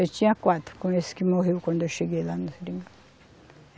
Eu tinha quatro, com esse que morreu quando eu cheguei lá no Seringal.